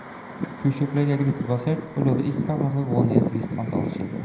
Kursopplegget er gruppebasert og lover ikke at man skal gå ned et visst antall kilo.